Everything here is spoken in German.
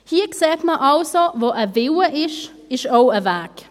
Hier sieht man also: Wo ein Wille ist, ist auch ein Weg.